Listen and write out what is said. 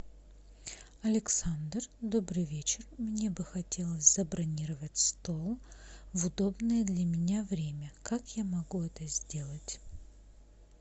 александр добрый вечер мне бы хотелось забронировать стол в удобное для меня время как я могу это сделать